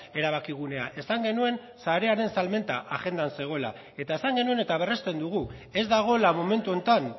erabakigunea esan genuen sarearen salmenta agendan zegoela eta esan genuen eta berresten dugu ez dagoela momentu honetan